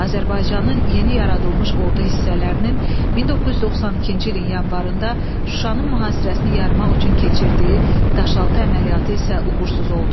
Azərbaycanın yeni yaradılmış ordu hissələrinin 1992-ci ilin yanvarında Şuşanın mühasirəsini yarmaq üçün keçirdiyi Daşaltı əməliyyatı isə uğursuz oldu.